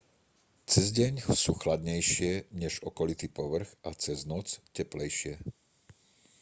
cez deň sú chladnejšie než okolitý povrch a cez noc teplejšie